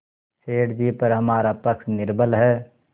सेठ जीपर हमारा पक्ष निर्बल है